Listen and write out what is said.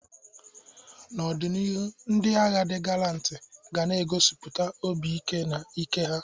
N'ọdịnihu, ndị agha di galanti ga na egosipụta obi ike na ike ha.